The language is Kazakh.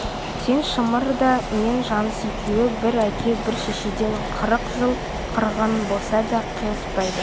сен шымыр да мен жаныс екеуі бір әке бір шешеден қырық жыл қырғын болса да қиыспайды